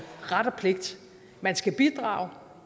ret og pligt man skal bidrage